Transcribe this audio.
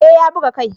Eh ya buga kai